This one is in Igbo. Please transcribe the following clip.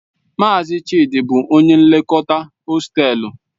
Mazi Chidi bu onye nlekọta hostelu..